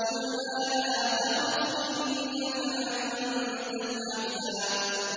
قُلْنَا لَا تَخَفْ إِنَّكَ أَنتَ الْأَعْلَىٰ